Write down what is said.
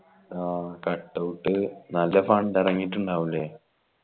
ആ cut out നല്ല fund എറങ്ങീറ്റിണ്ടാവുല്ലേ